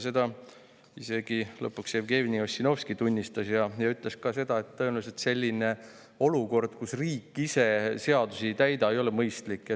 Seda tunnistas lõpuks isegi Jevgeni Ossinovski ja ütles ka seda, et tõenäoliselt selline olukord, kus riik ise seadusi ei täida, ei ole mõistlik.